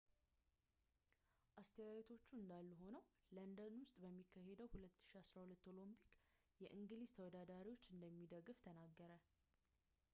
አስተያየቶቹ እንዳሉ ሆነው ለንደን ውስጥ በሚካሄደው 2012 ኦሎምፒክስ የእንግሊዝ ተወዳዳሪዎቹን እንደሚደግፍ ተናገረ